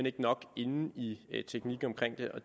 ikke nok inde i i teknikken omkring det og